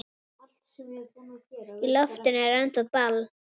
Í loftinu er ennþá ball.